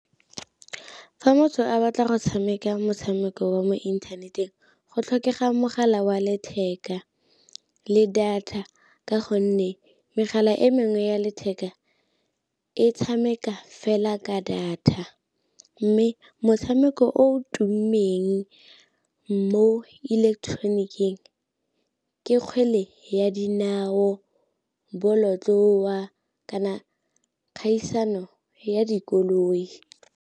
Fa motho a batla go tshameka motshameko wa mo inthaneteng go tlhokega mogala wa letheka le data, ka gonne megala e mengwe ya letheka e tshameka fela ka data. Mme motshameko o tummeng mo ileketeroniking ke kgwele ya dinao, bolotloa, kana kgaisano ya dikoloi.